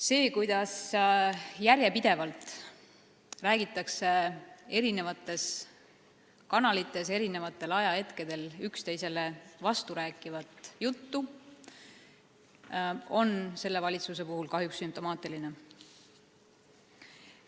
See, et järjepidevalt räägitakse eri kanalites eri ajahetkedel üksteisele vasturääkivat juttu, on sellele valitsusele kahjuks sümptomaatiline.